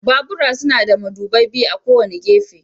Babura suna da madubai biyu a kowane gefe.